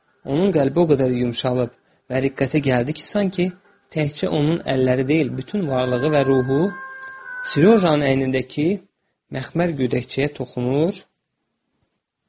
Onun qəlbi o qədər yumşalıb və riqqətə gəldi ki, sanki təkcə onun əlləri deyil, bütün varlığı və ruhu Serojanın əynindəki məxmər gödəkçəyə toxunur və onu sığallayırdı.